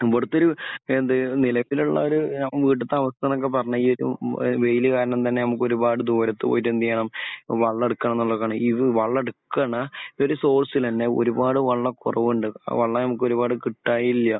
ഇവിടത്തെയൊരു എന്തേ നിലവിലുള്ള ഒരു ഏഹ് ഇവിടുത്തെ അവസ്ഥ എന്നൊക്കെ പറഞ്ഞാൽ ഈ ഇ ഉ വെയിൽ കാരണം തന്നെ നമുക്ക് ഒരുപാട് ദൂരത്ത് പോയിട്ട് എന്ത് ചെയ്യണം വെള്ളം എടുക്കണം എന്നുള്ളതാണ് ഈ ഒരു വെള്ളം എടുക്കുന്ന ഒരു സോഴ്സിൽ തന്നെ ഒരുപാട് വെള്ളം കുറവുണ്ട്. ഇപ്പോൾ വെള്ളം ഞങ്ങൾക്ക് ഒരുപാട് കിട്ടാനില്ല.